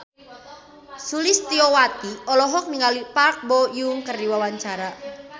Sulistyowati olohok ningali Park Bo Yung keur diwawancara